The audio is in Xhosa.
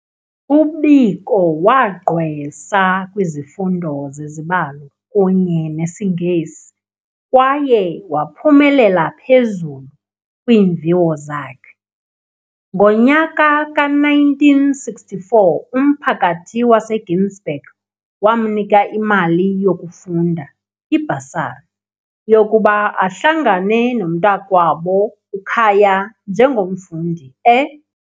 UBiko wagqwesa kwizifundo zezibalo kunye nesiNgesi kwaye waphumelela phezulu kwiimviwo zakhe. Ngonyaka ka-1964 umphakathi waseGinsberg wamnika imali yokufunda, ibhasari, yokuba ahlangane nomntakwabo uKhaya njengomfundi e, .